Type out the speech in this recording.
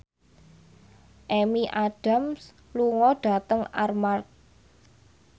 Amy Adams lunga dhateng Armargh